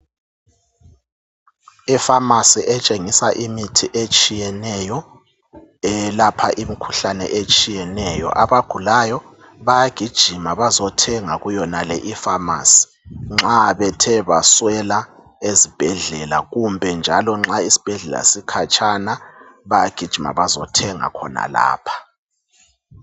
i phamarcy etshengisa imithi etshiyeneyo elapha imkhuhlane etshiyeneyo abagulayo bayagijima bazothenga kuyonale iphamarcy nxa bethe baswela ezibhedlela kumbe njalo isibhedlela nxa sikhatshana bayagijima bazothenga khonalapha